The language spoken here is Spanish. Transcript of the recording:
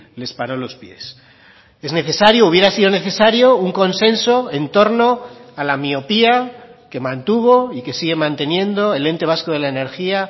les paró los pies es necesario hubiera sido necesario un consenso en torno a la miopía que mantuvo y que sigue manteniendo el ente vasco de la energía